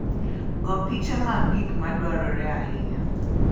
Go piche mag gik madwarore ahinya.